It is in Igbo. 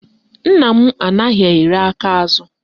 Nna m anaghị iri aka azụ